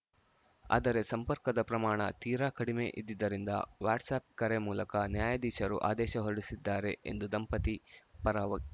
ಆದರೆ ಸಂಪರ್ಕದ ಪ್ರಮಾಣ ತೀರಾ ಕಡಿಮೆ ಇದ್ದಿದ್ದರಿಂದ ವಾಟ್ಸ್‌ಆ್ಯಪ್‌ ಕರೆ ಮೂಲಕ ನ್ಯಾಯಾಧೀಶರು ಆದೇಶ ಹೊರಡಿಸಿದ್ದಾರೆ ಎಂದು ದಂಪತಿ ಪರ ವಕ